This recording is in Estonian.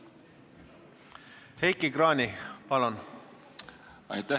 Heiki Kranich, palun!